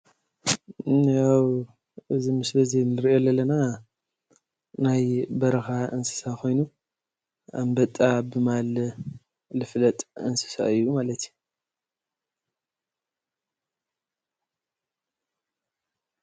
ያው እዚ ምስሊ እንሪኦ ዘለና ናይ በረካ እንስሳ ኮይኑ ኣንበጣ ብምባል ዝፍለጥ እንስሳ እዩ ማለት እዩ፡፡